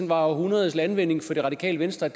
var århundredets landvinding for det radikale venstre